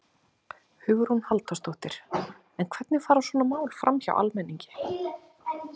Hugrún Halldórsdóttir: En hvernig fara svona mál framhjá almenningi?